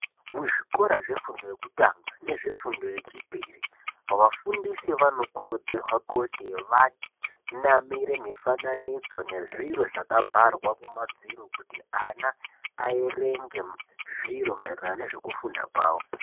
Muzvikora zvefundo yekutanga nezvefundo yechipiri vafundisi vanokurudzirwa kuti vanamire mifananidzo nezviro zvakabharwa kuti ana aerenge zviro maererano nezvekufunda kwavo.